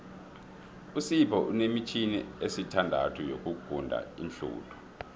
usipho unemitjhini esithandathu yokuguda iinhluthu